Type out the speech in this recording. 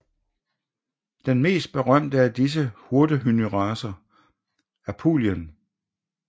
Den mest berømte af disse hyrdehunderacer er Pulien